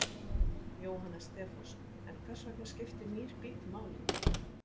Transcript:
Jóhannes Stefánsson: En hvers vegna skiptir nýr bíll máli?